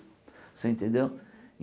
Você entendeu?